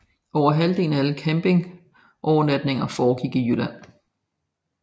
Over halvdelen af alle campingovernatninger foregik i Jylland